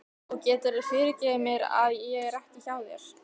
Og geturðu fyrirgefið mér að ég er ekki hjá þér?